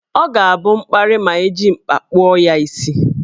Ọ ga-abụ mkparị ma ejiri mkpa kpụọ ya isi.